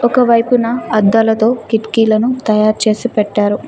ఒక వైపున అద్దాలతో కిటికీలను తయారుచేసి పెట్టారు.